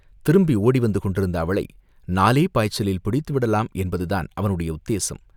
திரும்பி ஓடிவந்து கொண்டிருந்த அவளை நாலே பாய்ச்சலில் பிடித்துவிடலாம் என்பதுதான் அவனுடைய உத்தேசம்.